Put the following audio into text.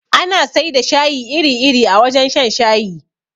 Ana sai da shayi iri iri a wajen shan shayi